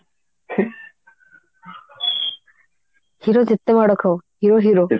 hero ଯେତେ ମାଡ ଖାଉ hero hero